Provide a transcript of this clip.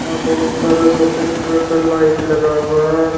यहां बहुत सारा सफेद कलर का लाइट लगा हुआ हैं।